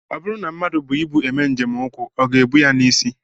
Ọ bụrụ na mmadụ bu ibu eme njem ụkwụ, ọ ga-ebu ya n'isi